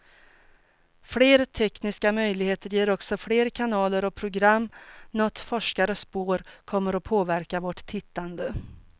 Fler tekniska möjligheter ger också fler kanaler och program, något forskare spår kommer att påverka vårt tittande.